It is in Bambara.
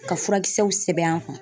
Ka furakisɛw sɛbɛn an kun.